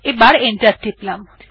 আবার এন্টার টিপলাম